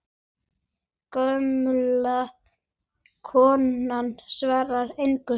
Gamla konan svarar engu.